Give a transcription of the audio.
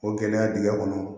O gɛlɛya dingɛ kɔnɔ